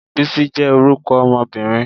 Bisi je orúkọ ọmọbirin